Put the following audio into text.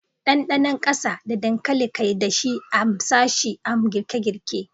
Dandanon kasa da dankali kai dashi, a m sashi a m girke-girke.